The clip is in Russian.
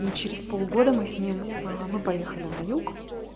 и через полгода мы с ним мы поехали на юг